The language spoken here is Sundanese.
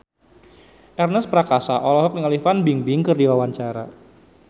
Ernest Prakasa olohok ningali Fan Bingbing keur diwawancara